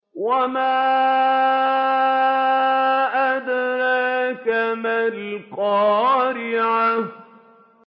وَمَا أَدْرَاكَ مَا الْقَارِعَةُ